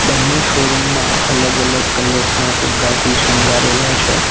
બન્ને શોરૂમ માં અલગ અલગ કલર્સ ના ફુગ્ગાથી શણગારેલા છે.